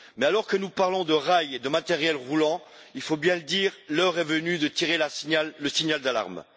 Mais alors que nous parlons de rail et de matériel roulant, il faut bien le dire, l'heure est venue de tirer le signal d'alarme.